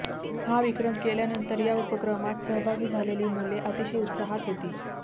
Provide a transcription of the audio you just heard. हा विक्रम केल्यानंतर या उपक्रमात सहभागी झालेली मुले अतिशय उत्साहात होती